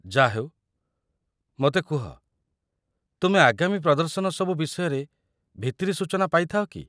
ଯା'ହେଉ, ମୋତେ କୁହ, ତୁମେ ଆଗାମୀ ପ୍ରଦର୍ଶନ ସବୁ ବିଷୟରେ ଭିତିରି ସୂଚନା ପାଇଥାଅ କି?